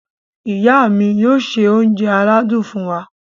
Ìyá mi yóò ṣe oúnjẹ aládùn fún wa.